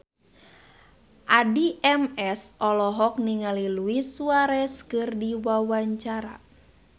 Addie MS olohok ningali Luis Suarez keur diwawancara